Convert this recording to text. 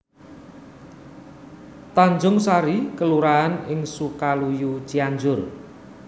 Tanjungsari kelurahan ing Sukaluyu Cianjur